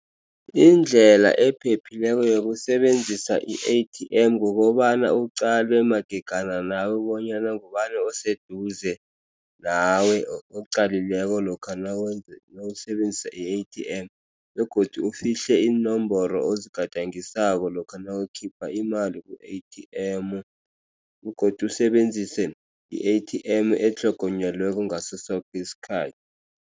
Indlela ephephileko yokusebenzisa i-A_T_M kukobana uqale magegana nawe bonyana ngubani oseduze nawe oqalileko lokha nawusebenzisa i-A_T_M begodu ufihle iinomboro ozigadangisako lokha nawukhipha imali ku-A_T_M begodu usebenzise i-A_T_M etlhogonyelweko ngaso soke isikhathi.